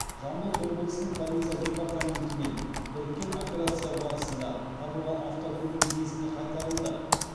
жамбыл облысының полиция департаментімен біріккен операция барысында табылған автокөлік иесіне қайтарылды